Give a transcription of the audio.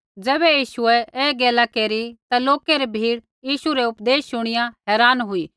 ज़ैबै यीशुऐ ऐ गैला केरी ता लोकै री भीड़ यीशु रै उपदेश शुणिया हैरान हुई